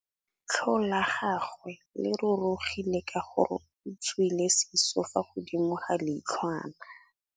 Leitlhô la gagwe le rurugile ka gore o tswile sisô fa godimo ga leitlhwana.